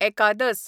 एकादस